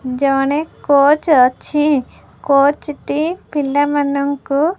ଜଣେ କୋଚ ଅଛି କୋଚ ଟି ପିଲାମାନଙ୍କୁ --